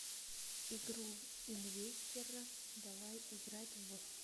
игру инвестерро давай играть в